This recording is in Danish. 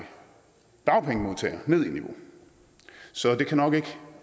dagpengemodtagere ned i niveau så det kan nok ikke